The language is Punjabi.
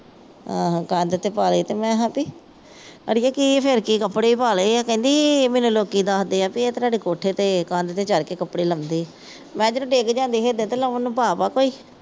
ਆਹੋ ਕੰਧ ਤੇ ਪਾ ਲਏ ਮੈਂ ਹੈ ਭੀ। ਅੜੀਏ ਕੀ ਫੇਰ ਕੀ ਕੱਪੜੇ ਹੀ ਪਾ ਲਏ ਕਹਿੰਦੀ ਮੈਨੂੰ ਲੋਕੀ ਦੱਸਦੇ ਹਾਂ ਭਾਈ ਇਹ ਤਾਂ ਸਾਡੇ ਕੋਠੇ ਤੇ ਕੰਧ ਤੇ ਚੜ੍ਹ ਕੇ ਕੱਪੜੇ ਲੰਮਦੇ ਆ। ਮੈਂ ਕਿਹਾ ਜਦੋਂ ਡਿੱਗ ਜਾਂਦੇ ਸੀ ਇਧਰ ਤੇ ਲਾਉਣ ਨੂੰ ਪਾਪ ਆ ਕੋਈ।